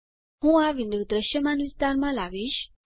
હું આ વિન્ડો દૃશ્યમાન વિસ્તારમાં લાવીશ